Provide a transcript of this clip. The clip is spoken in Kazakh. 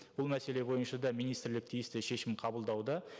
бұл мәселе бойынша да министрлік тиісті шешім қабылдауда